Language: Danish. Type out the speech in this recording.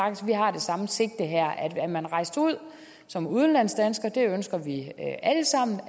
det samme sigte her er man rejst ud som udenlandsdansker det ønsker vi alle sammen